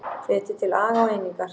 Hvetur til aga og einingar